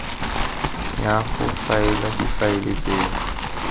ya go faela difaele tseno